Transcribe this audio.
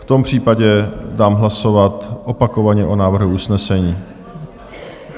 V tom případě dám hlasovat opakovaně o návrhu usnesení.